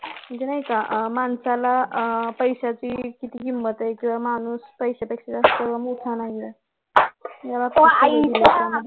म्हणजे नाही का आह माणसाला आह पैश्याची किती किंमत आहे किंवा माणूस पैश्यापेक्षा जास्त मोठा नाही आहे